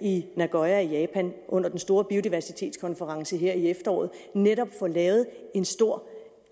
i nagoya i japan under den store biodiversitetskonference i efteråret netop får lavet en stor